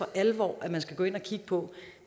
alvor at man skal gå ind at kigge på